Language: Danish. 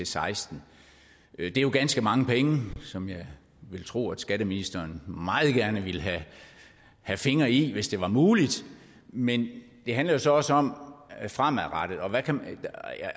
seksten det er jo ganske mange penge som jeg vil tro at skatteministeren meget gerne ville have fingre i hvis det var muligt men det handler jo så også om det fremadrettede